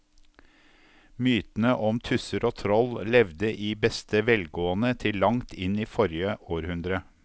Mytene om tusser og troll levde i beste velgående til langt inn i forrige århundre.